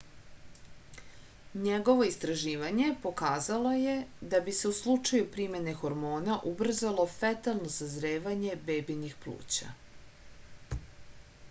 njegovo istraživanje pokazalo je da bi se u slučaju primene hormona ubrzalo fetalno sazrevanje bebinih pluća